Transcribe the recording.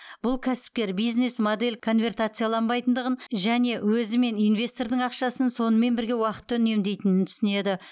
бұл кәсіпкер бизнес модель конвертацияланбайтындығын және өзі мен инвестордың ақшасын сонымен бірге уақытты үнемдейтінін түсінеді